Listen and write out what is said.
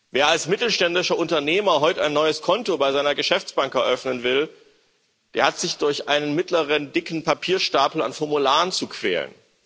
Wer als mittelständischer Unternehmer heute ein neues Konto bei seiner Geschäftsbank eröffnen will, der hat sich durch einen mittleren dicken Papierstapel an Formularen zu quälen.